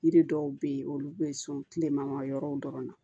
Yiri dɔw be yen olu be so kile man yɔrɔw dɔrɔn na